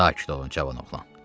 Sakit olun, cavan oğlan.